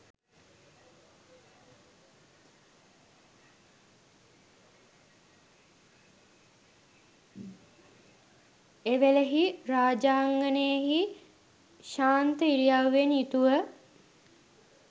එවේලෙහි රාජාංගනයෙහි ශාන්ත ඉරියව්වෙන් යුතුව